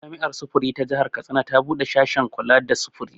Jami'ar sufuri ta jihar Katsina ta buɗe sashe na kula da sufuri